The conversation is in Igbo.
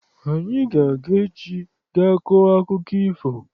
Anyị ga-aga echi ga kọọ akụkọ ifo.